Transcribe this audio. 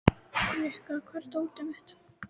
Rikka, hvar er dótið mitt?